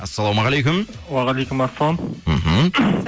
ассалаумағалейкум уағалейкумассалам мхм